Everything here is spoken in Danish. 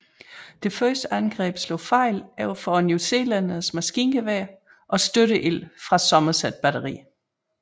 Dette første angreb slog fejl overfor newzealændernes maskingeværer og støtteild fra Somerset batteriet